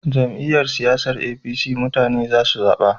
Jam'iyyar siyasan APC mutane za su zaba